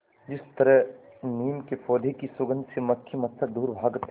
जिस तरह नीम के पौधे की सुगंध से मक्खी मच्छर दूर भागते हैं